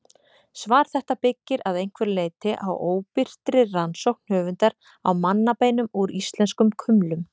Svar þetta byggir að einhverju leyti á óbirtri rannsókn höfundar á mannabeinum úr íslenskum kumlum.